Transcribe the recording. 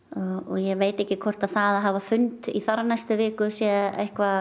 ég veit ekki hvort að að hafa fund í þar næstu viku sé